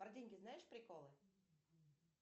про деньги знаешь приколы